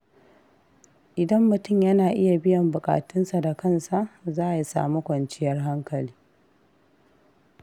Idan mutum yana iya biyan buƙatunsa da kansa, za ya sami kwanciyar hankali.